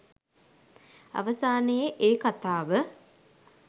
අවසානයේ ඒ කතාව